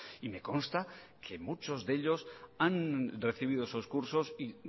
y me consta que muchos de ellos han recibido esos cursos y